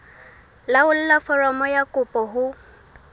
laolla foromo ya kopo ho